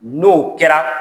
N'o kɛra